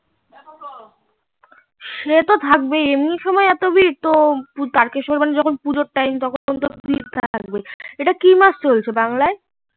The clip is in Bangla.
সে তো থাকবেই এমনি সময় এতো ভিড় তুই তারোকেশর যখন পুজোর time ভিড় থাকবেই এটা কি মাস চলছে বাংলায়